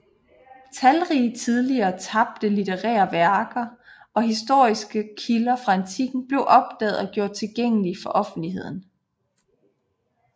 Talrige tidligere tabte litterære værker og historiske kilder fra antikken blev opdaget og gjort tilgængelige for offentligheden